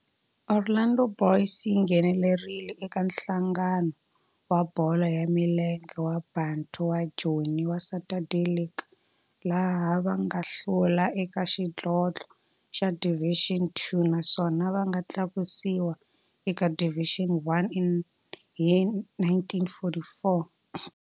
Orlando Boys yi nghenelerile eka Nhlangano wa Bolo ya Milenge wa Bantu wa Joni wa Saturday League, laha va nga hlula eka xidlodlo xa Division Two naswona va nga tlakusiwa eka Division One hi 1944.